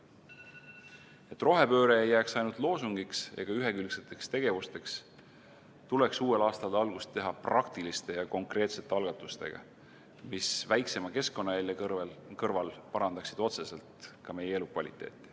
Et rohepööre ei jääks ainult loosungiks ega ühekülgseteks tegevusteks, tuleks uuel aastal algust teha praktiliste ja konkreetsete algatustega, mis väiksema keskkonnajälje kõrval parandaksid otseselt ka meie elukvaliteeti.